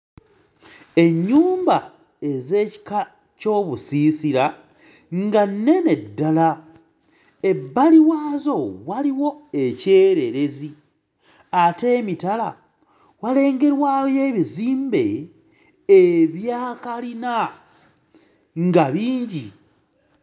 Ennyumba ez'ekika ky'obusiisira nga nnene ddala ebbali waazo waliwo ekyererezi ate emitala walengerwayo ebizimbe ebya kalina nga bingi.